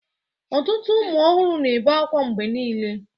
Ọtụtụ ụmụ ọhụrụ na-ebe akwa mgbe niile